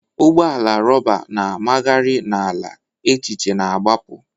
Ụgbọ ala rọba na-amagharị n'ala, echiche na-agbapụ.